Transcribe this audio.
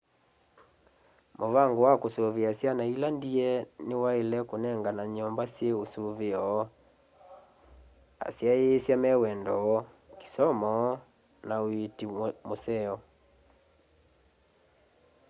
muvango wa kusuvia syana ila ndie ni waile kunengana nyumba syi usuveo asyaisya me wendo kisomo na uiiti wa museo